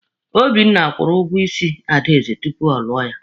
Obinna kwụrụ ụgwọ isi Adaeze tupu ọ lụọ ya.